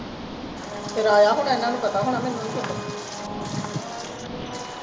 ਫੇਰ ਆਇਆ ਹੋਣਾ ਇਹਨਾ ਨੂੰ ਪਤਾ ਹੋਣਾ ਮੈਨੂੰ ਨਹੀਂ ਪਤਾ